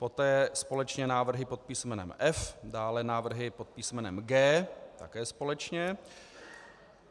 Poté společně návrhy pod písmenem F, dále návrhy pod písmenem G, také společně.